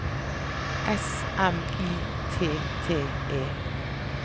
S M I T T E